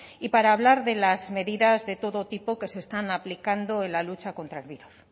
y para hablar de las medidas de todo tipo que se están aplicando en la lucha contra el virus